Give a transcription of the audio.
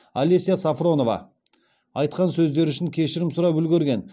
алеся сафронова айтқан сөздері үшін кешірім сұрап үлгерген